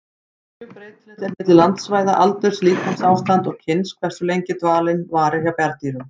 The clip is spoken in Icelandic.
Mjög breytilegt er milli landsvæða, aldurs, líkamsástands og kyns hversu lengi dvalinn varir hjá bjarndýrum.